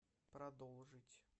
продолжить